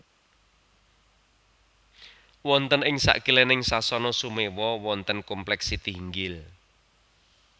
Wonten ing sakilèning Sasana Sumewa wonten komplèk Sitihinggil